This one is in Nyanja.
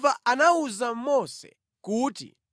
Yehova anawuza Mose kuti,